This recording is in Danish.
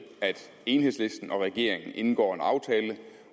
at enhedslisten og regeringen indgår en aftale